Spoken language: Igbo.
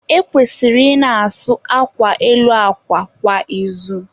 E kwesịrị ị na-asụ akwa elu akwa kwa izu.